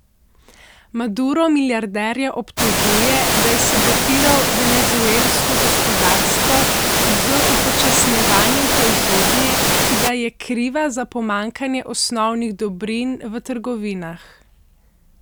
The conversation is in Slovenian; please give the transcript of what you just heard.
Maduro milijarderja obtožuje, da je sabotiral venezuelsko gospodarstvo z upočasnjevanjem proizvodnje, ki da je kriva za pomanjkanje osnovnih dobrin v trgovinah.